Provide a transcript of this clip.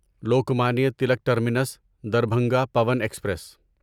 Lokmanya Tilak Terminus Darbhanga Pawan express